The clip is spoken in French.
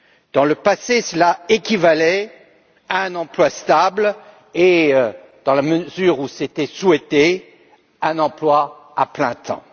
Dans le passé, cela équivalait à un emploi stable et, dans la mesure où c'était souhaité, à un emploi à plein temps.